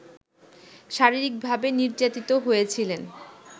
শারীরিকভাবে নির্যাতিত হয়েছিলেন